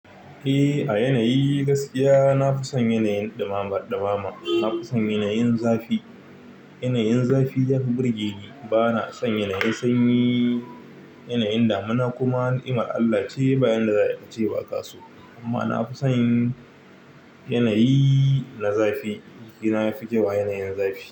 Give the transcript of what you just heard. Eh, a yanayi gaskiya na fi son yanayin ɗumama, ɗumama. Nafi son yananyin zafi yanayin zafi yafi burge ni. Ba na son yanayin sanyi. Yanayin damuna kuma ni'iman Allah ce ba inda za a yi ƙace ba kaso. Amma na fi son yanayi na zafi. Jikina yafi kyau a yanayin zafi.